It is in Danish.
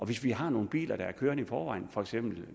hvis vi har nogle biler der er kørende i forvejen for eksempel